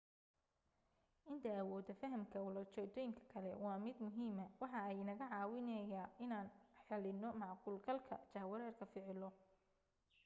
inta awooda fahanka ula jeedoyinka kale waa mid muhiima waxa ay inaga caawineyga inaan xalino macquul galka jahwareerka ficilo